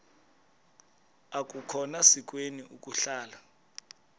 akukhona sikweni ukuhlala